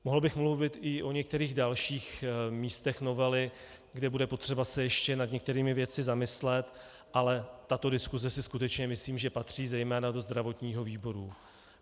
Mohl bych mluvit i o některých dalších místech novely, kde bude potřeba se ještě nad některými věcmi zamyslet, ale tato diskuse si skutečně myslím, že patří zejména do zdravotního výboru.